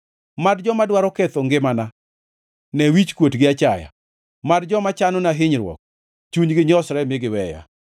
Mad joma dwaro ketho ngimana, ne wichkuot gi achaya. Mad joma chanona hinyruok, chunygi nyosre mi giweya.